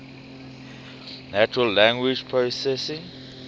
natural language processing